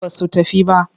Ba su tafi ba.